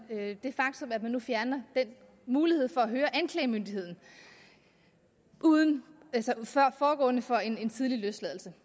det faktum at man nu fjerner muligheden for at høre anklagemyndigheden forud for en tidlig løsladelse